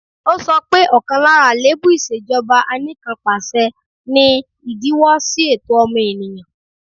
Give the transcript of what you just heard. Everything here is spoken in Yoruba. Ó sọ pé, ọ̀kan lára àléébù ìṣèjọba Anìkanpàṣẹ ni ìdíwọ́ sí ẹ̀tọ́ ọmọ ènìyàn